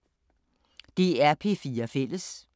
DR P4 Fælles